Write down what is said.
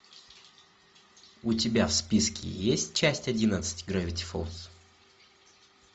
у тебя в списке есть часть одиннадцать гравити фолз